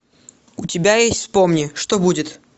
у тебя есть вспомни что будет